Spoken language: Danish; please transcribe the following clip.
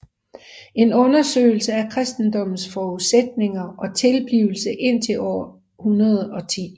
En undersøgelse af kristendommens forudsætninger og tilblivelse indtil år 110